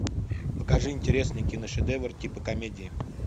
покажи интересный киношедевр типа комедии